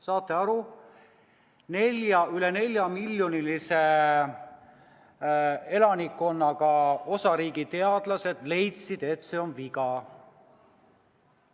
Saate aru, üle neljamiljonilise elanikkonnaga osariigi teadlased leidsid, et see on viga!